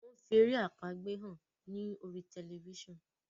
wón fí èrè àpagbè hàn ní orí Tẹlifísàn.